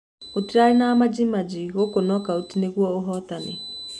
Gũtirarĩ na majaji gũkũ Knockout nĩguo ũhotanĩ.